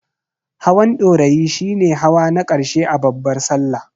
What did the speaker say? Hawan Ɗorayi shi ne hawa na ƙarshe a babbar Sallah.